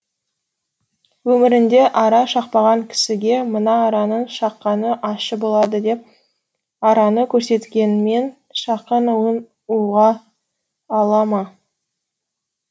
өмірінде ара шақпаған кісіге мына араның шаққаны ащы болады деп араны көрсеткенмен шаққан уын ұға ала ма